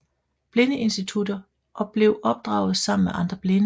Blindeinstitutter og blev opdraget sammen med andre blinde